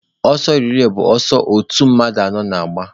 Ọsọ relay bụ ụdị ọsọ otu mmadụ anọ na-agba.